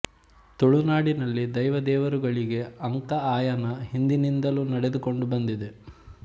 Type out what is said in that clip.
ತುಳುನಾಡಿನಲ್ಲಿ ದೈವ ದೇವರುಗಳಿಗೆ ಅಂಕ ಆಯನ ಹಿಂದಿನಿಂದಲೂ ನಡೆದುಕೊಂಡು ಬಂದಿದೆ